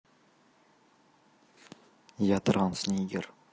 я транснигер